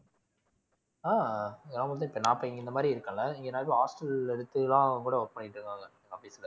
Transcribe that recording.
ஆஹ் நான் வந்து இப்ப நான் இப்ப இங்க இந்த மாதிரி இருக்கேன்ல இங்க hostel ல எடுத்து தான் கூட work பண்ணிட்டு இருக்காங்க office ல